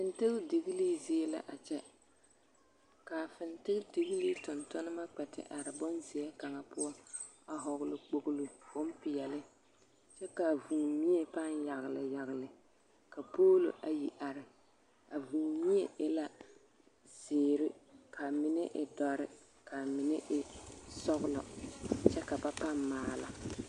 Fintindigilii zie la a kyɛ, ka a fintindigilii tontonema kpɛ te are bonzeɛ kaŋa poɔ a hɔgele kpogilo bompeɛle kyɛ k'a vūū mie pãã yagele yagele ka poolo ayi are a vūū mie e la zeere k'a mine e dɔre k'a mine e sɔgelɔ kyɛ ka ba pãã maala.